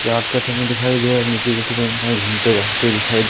रात का समय दिखाई दे रहा है नीचे की ओर कितने इंसान घूमते भागते दिखाई--